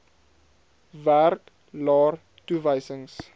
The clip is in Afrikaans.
werk laer toewysings